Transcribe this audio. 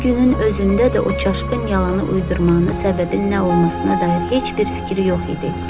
Bu günün özündə də o çaşqın yalanı uydurmağın səbəbi nə olmasına dair heç bir fikri yox idi.